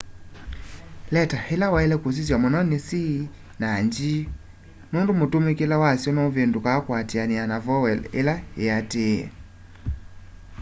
leta ila waile kusisya muno ni c na g nundu mutamukile wasyo nuvindukaa kuatiania na voweo ila iatiie